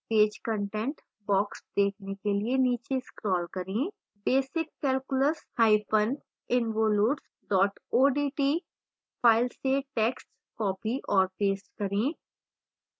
page content box देखने के लिए नीचे scroll करें basiccalculusinvolutes odt file से टैक्स्ट copy और paste करें